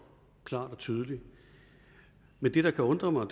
klart og tydeligt men det der kan undre mig